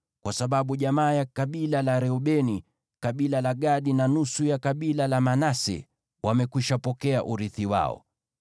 kwa sababu jamaa ya kabila la Reubeni, kabila la Gadi, na nusu ya kabila la Manase wamekwishapokea urithi wao.